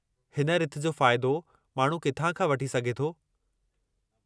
हिन रिथ जो फ़ाइदो माण्हू किथां खां वठी सघे थो?